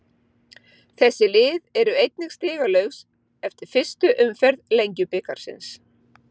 Þessi lið eru einnig stigalaus eftir fyrstu umferð Lengjubikarsins.